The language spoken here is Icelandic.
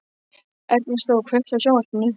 Ernestó, kveiktu á sjónvarpinu.